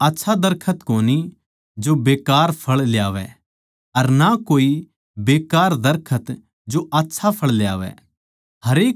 कोए आच्छा दरखत कोनी जो बेकार फळ ल्यावै अर ना तो कोए बेकार दरखत सै जो आच्छा फळ ल्यावै